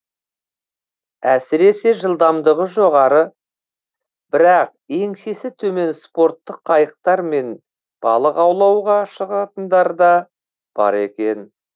әсіресе жылдамдығы жоғары бірақ еңсесі төмен спорттық қайықтармен балық аулауға шығатындар да бар екен